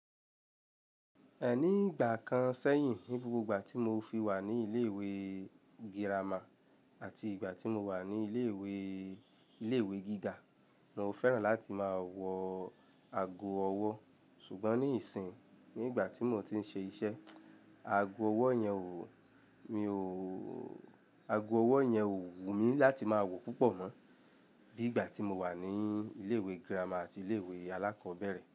Ẹni ìgbà kan sẹ́yìn, ní gbogbo ìgbà tí mo fi wà ní ilé ìwé girama àti ìgbà tí mo wà ní ilé ìwé, ilé ìwé gíga, mo fẹ́ràn láti máa wọ ago ọwọ́. Ṣùgbọ́n ní ìsìn, ní ìgbà tí mò ń ti ń ṣe iṣẹ́, ago ọwọ́ yẹn ò, mi ò, ago ọwọ́ yẹn ò wù mí láti máa wọ̀ púpọ̀ mọ́ bí ìgbà tí mo wà ní ilé ìwé girama àti ilé ìwé alákọ̀ọ́bẹ̀rẹ̀